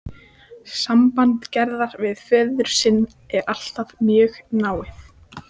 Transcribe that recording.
Samband Gerðar við föður sinn er alltaf mjög náið.